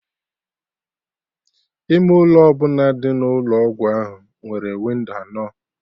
Ime ụlọ ọbụla dị n'Ụlọ ọgwụ ahụ nwere windo anọ